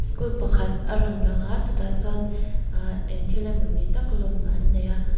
kût pakhat a rawn lang a chutah chuan aah eng thil emawni tak lawm an nei a.